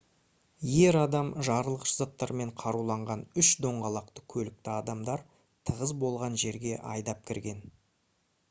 ер адам жарылғыш заттармен қаруланған үш доңғалақты көлікті адамдар тығыз болған жерге айдап кірген